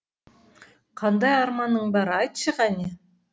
қандай арманың бар айтшы қане